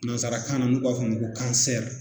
Nansarakan na n'u b'a fɔ a ma ko